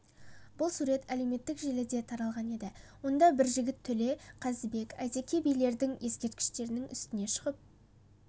бұл сурет әлеуметтік желіде таралған еді онда бір жігіт төле қазыбек әйтеке билердің ескерткішінің үстіне шығып